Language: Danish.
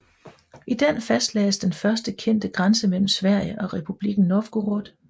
I den fastlagdes den første kendte grænse mellem Sverige og republikken Novgorod